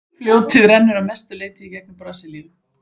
fljótið rennur að mestu leyti í gegnum brasilíu